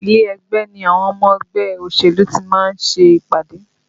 Ilé ẹgbẹ́ ni àwọn ọmọ ẹgbẹ́ òṣèlú tí ma ń ṣe ìpàdé